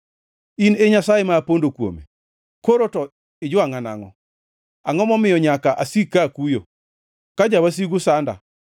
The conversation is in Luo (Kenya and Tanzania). In Nyasaye ma apondo kuome. Koro to ijwangʼa nangʼo? Angʼo momiyo nyaka asik ka akuyo, ka jawasigu sanda?